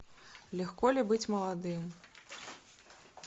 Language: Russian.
легко ли быть молодым